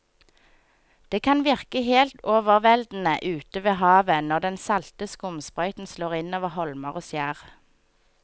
Det kan virke helt overveldende ute ved havet når den salte skumsprøyten slår innover holmer og skjær.